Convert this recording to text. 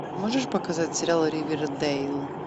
можешь показать сериал ривердэйл